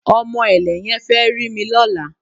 Ọmọ ẹ̀lẹ̀ yẹn fẹ́ rí mi lọ́la